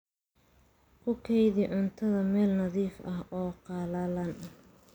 Ku kaydi cuntada meel nadiif ah oo qallalan.